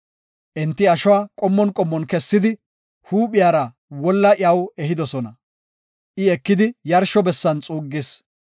Enti ashuwa qommon qommon kessidi, huuphiyara wolla iyaw ehidosona; I ekidi yarsho bessan xuuggis.